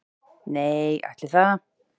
Nei, ætli það.